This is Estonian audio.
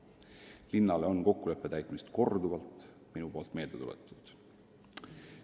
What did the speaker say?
Olen linnale vajadust kokkulepet täita korduvalt meelde tuletanud.